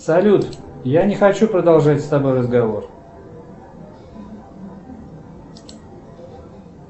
салют я не хочу продолжать с тобой разговор